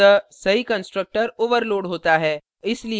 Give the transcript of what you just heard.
अतः सही constructor overloaded होता है